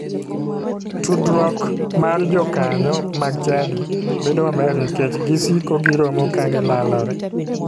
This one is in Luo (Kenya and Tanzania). Tudruok mar jokanyo mag chadi bedo maber nikech gisiko giromo ka gilalore.